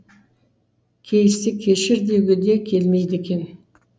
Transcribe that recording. кей істі кешір деуге де келмейді екен